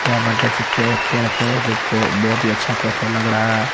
यहाँ पर देख सकते हैं केफे है जो की बहोत ही अच्छा केफे लग रहा है।